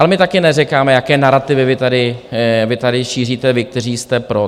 Ale my taky neříkáme, jaké narativy vy tady šíříte, vy, kteří jste "pro".